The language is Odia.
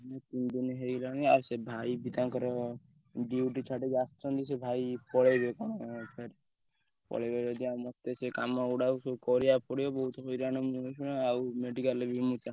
ଦି ତିନ ଦିନ ହେଇଗଲାଣି ଆଉ ଭାଇ ବି ତାଙ୍କର duty ଛାଡିକି ଆସିଛନ୍ତି ସେ ଭାଇ ପଳେଇବେ କଣ ଫେର ଆଉ ପଳେଇବେ ଯଦି ମତେ ସେ କାମ ଗୁଡାକ କରିବାକୁ ପଡିବ ବୋହୁତ ହଇରାଣ ମୁଁ ଆଈକ୍ଷିଣା ଆଉ medical ରେ।